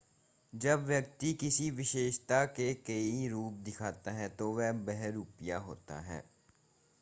जब व्यक्ति किसी विशेषता के कई रूप दिखाता है तो वह बहुरूपिया होता है